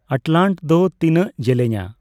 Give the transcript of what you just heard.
ᱟᱴᱞᱟᱱᱴ ᱫᱚ ᱛᱤᱱᱟᱹᱜ ᱡᱮᱞᱮᱧᱼᱟ